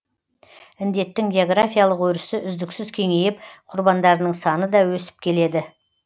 індеттің географиялық өрісі үздіксіз кеңейіп құрбандарының саны да өсіп келеді